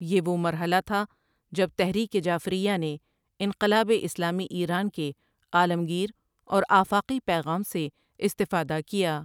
یہ وہ مرحلہ تھا جب تحریک جعفریہ نے انقلاب اسلامی ایران کے عالمگیر اور آفاقی پیغام سے استفادہ کیا ۔